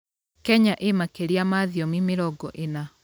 Kenya ĩĩ makĩria ya thiomi mĩrongo ĩna.